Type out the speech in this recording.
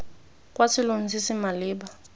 kwa selong se se maleba